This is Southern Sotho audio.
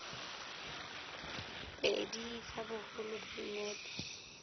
pedi tsa boholo ba dinepe